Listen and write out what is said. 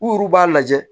U b'a lajɛ